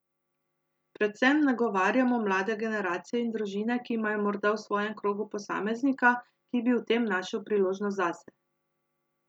Predvsem nagovarjamo mlade generacije in družine, ki imajo morda v svojem krogu posameznika, ki bi v tem našel priložnost zase.